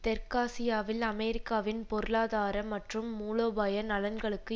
தெற்காசியாவில் அமெரிக்காவின் பொருளாதார மற்றும் மூலோபாய நலன்களுக்கு